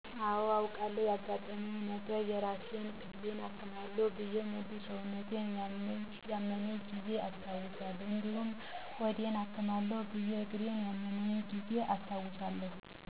አወ አውቃለሁ ያገጠመኛ ነገረ የራስ ክፍሌን አክማለሁ ብየ ሙሉ ሰውነቴን ያመመኛ ጊዜ አስታውሳለሁ እዲሁም ሆዴን አክማለሁ ብየ እግሪን ያመመኝን ጊዜ አስታውሳለሁ።